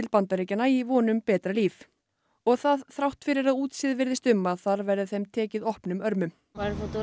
Bandaríkjanna í von um betra líf og það þrátt fyrir að útséð virðist um að þar verði þeim tekið opnum örmum